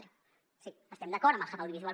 d’acord sí estem d’acord amb el hub audiovisual